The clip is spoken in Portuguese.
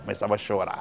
Começava a chorar.